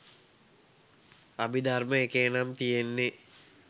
අභිධර්ම එකේ නම් තියෙන්නෙ